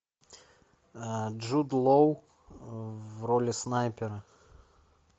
джуд лоу в роли снайпера